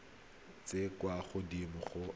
tse di kwa godimo ga